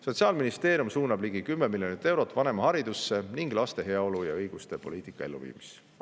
Sotsiaalministeerium suunab ligi 10 miljonit eurot vanemaharidusse ning laste heaolu ja õiguste poliitika elluviimisesse.